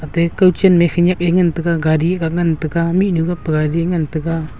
ate kawchenme khenyak ai ngan taiga gari ga ngan taiga mihnyu gapa gari ngan taiga.